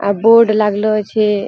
आ board लागलो छे।